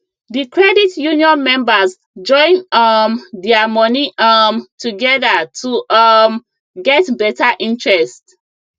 the credit union members join um their money um together to um get better interest